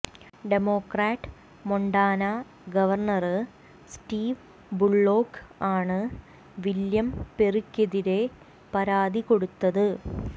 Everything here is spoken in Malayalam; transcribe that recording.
democrat Montana governor Steve Bullock ആണ് വില്ല്യം പെറിക്കെതിരെ പരാതി കൊടുത്തത്